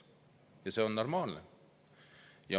Ja see on normaalne.